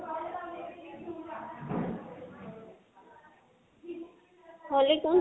হʼলি কোন